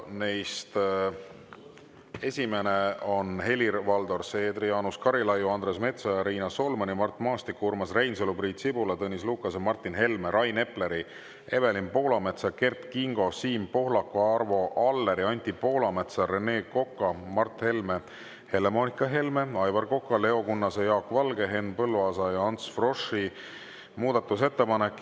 Neist esimene on Helir-Valdor Seedri, Jaanus Karilaiu, Andres Metsoja, Riina Solmani, Mart Maastiku, Urmas Reinsalu, Priit Sibula, Tõnis Lukase, Martin Helme, Rain Epleri, Evelin Poolametsa, Kert Kingo, Siim Pohlaku, Arvo Alleri, Anti Poolametsa, Rene Koka, Mart Helme, Helle-Moonika Helme, Aivar Koka, Leo Kunnase, Jaak Valge, Henn Põlluaasa ja Ants Froschi muudatusettepanek.